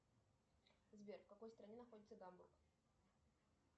сбер в какой стране находится гамбург